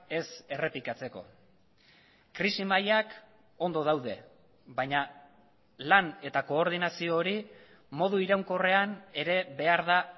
ez errepikatzeko krisi mailak ondo daude baina lan eta koordinazio hori modu iraunkorrean ere behar da